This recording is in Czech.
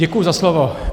Děkuji za slovo.